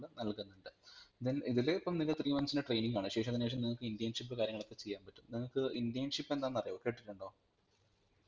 നൽകുന്നുണ്ട് then ഇതിൽ ഇപ്പം നിങ്ങൾക് three months training ആണ് ശേഷം നിങ്ങക് internship കാര്യങ്ങളൊക്കെ ചെയ്യാൻപറ്റും നിങ്ങക് internship എന്താന്ന് അറിയോ കേട്ടിട്ടുണ്ടോ